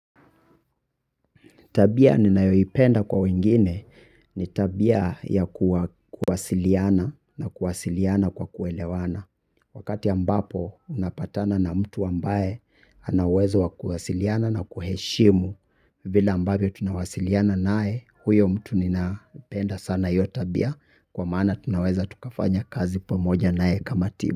Tabia ninayoipenda kwa wengine ni tabia ya kuwasiliana na kuwasiliana kwa kuelewana. Wakati ambapo unapatana na mtu ambaye ana uwezo wa kuwasiliana na kuheshimu vile ambavyo tunawasiliana naye huyo mtu ninapenda sana hiyo tabia kwa maana tunaweza tukafanya kazi pamoja naye kama timu.